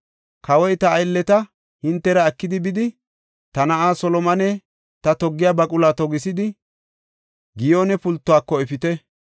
Kawoy “Ta aylleta hintera ekidi bidi, ta na7aa Solomone ta toggiya baquluwa togisidi, Giyoone pultuwako efite.